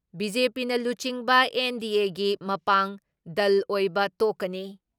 ꯕꯤ.ꯖꯦ.ꯄꯤꯅ ꯂꯨꯆꯤꯡꯕ ꯑꯦꯟ.ꯗꯤ.ꯑꯦꯒꯤ ꯃꯄꯥꯡ ꯗꯜ ꯑꯣꯏꯕ ꯇꯣꯛꯀꯅꯤ ꯫